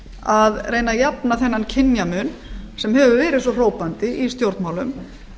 að reyna að jafna þennan kynjamun sem hefur verið svo hrópandi í stjórnmálum